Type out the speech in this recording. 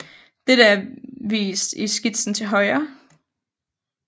Dette er vist i skitsen til højre